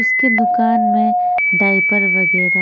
उसके दुकान में डाइपर वगैरह--